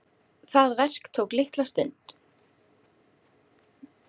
Það verk tók litla stund.